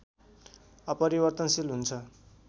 अपरिवर्तनशील हुन्छं।